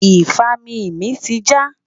ifami mí ti ja